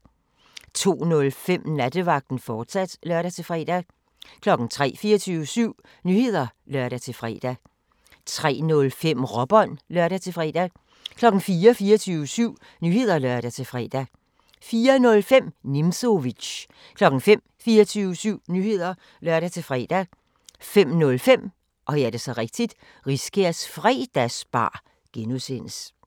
02:05: Nattevagten, fortsat (lør-fre) 03:00: 24syv Nyheder (lør-fre) 03:05: Råbånd (lør-fre) 04:00: 24syv Nyheder (lør-fre) 04:05: Nimzowitsch 05:00: 24syv Nyheder (lør-fre) 05:05: Riskærs Fredagsbar (G)